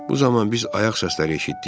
Bu zaman biz ayaq səsləri eşitdik.